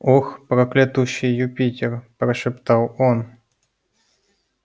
ох проклятущий юпитер прошептал он